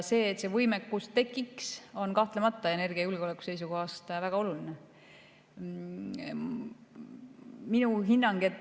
See, et see võimekus tekiks, on energiajulgeoleku seisukohast kahtlemata väga oluline.